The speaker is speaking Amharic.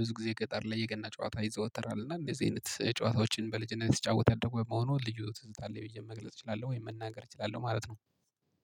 ብዙ ጊዜ ገጠር ላይ የገና ጨዋታ ይዘወተራል። እና እንደዚህ አይነት ጨዋታዎችን በልጅነት ስጫወት ያደኩ በመሆኑ ልጅ ትዝታ ላይ ብዬ መግለጽ እችላለሁ ወይ መናገር እችላለሁ ማለት ነው።